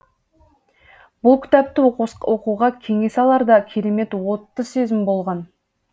бұл кітапты оқуға кеңес алар да керемет отты сезім болған